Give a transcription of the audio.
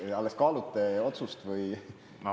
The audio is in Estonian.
Kas te alles kaalute otsust või?